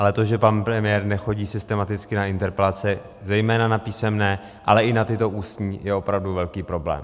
Ale to, že pan premiér nechodí systematicky na interpelace, zejména na písemné, ale i na tyto ústní, je opravdu velký problém.